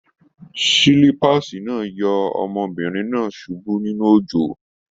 Silipaasi náà yọ ọmọbìnrin náà subú nínú òjò.